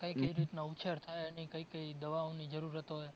ઉછેર થાય અને કઈ કઈ દવાની જરૂરત હોય?